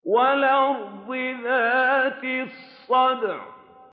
وَالْأَرْضِ ذَاتِ الصَّدْعِ